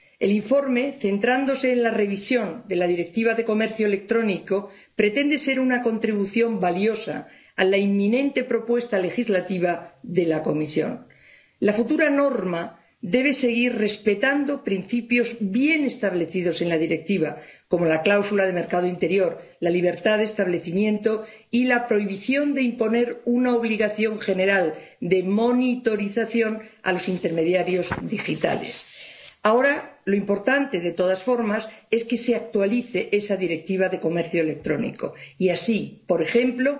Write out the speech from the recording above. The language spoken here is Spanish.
El informe, centrándose en la revisión de la Directiva sobre el comercio electrónico, pretende ser una contribución valiosa a la inminente propuesta legislativa de la Comisión. La futura norma debe seguir respetando principios bien establecidos en la Directiva, como la cláusula de mercado interior, la libertad de establecimiento y la prohibición de imponer una obligación general de monitorización a los intermediarios digitales. Ahora lo importante, de todas formas, es que se actualice esa Directiva sobre el comercio electrónico y así, por ejemplo,